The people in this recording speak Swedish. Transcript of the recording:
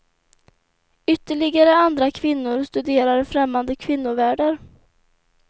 Ytterligare andra kvinnor studerar främmande kvinnovärldar.